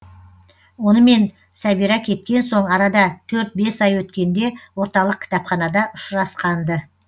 онымен сәбира кеткен соң арада төрт бес ай өткенде орталық кітапханада ұшырасқан ды